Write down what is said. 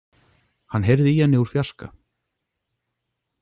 Hann heyrði í henni úr fjarska.